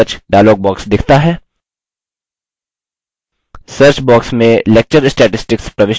search box में lecture statistics प्रविष्ट करें